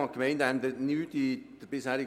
Ich danke ihm für die optische Hilfe.